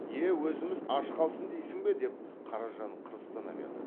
е өзіміз аш қалсын дейсің бе деп қаражан қырыстана берді